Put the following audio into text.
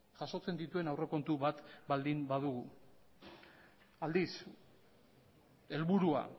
jasotzen dituen aurrekontu bat baldin badugu aldiz helburua